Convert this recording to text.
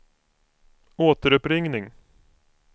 återuppringning